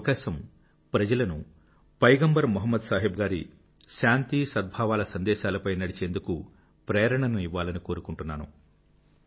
ఈ అవకాశం ప్రజలను మొహమ్మద్ సాహెబ్ గారి శాంతి సద్భావాల సందేశాలపై నడిచేందుకు ప్రేరణను ఇవ్వాలని కోరుకుంటున్నాను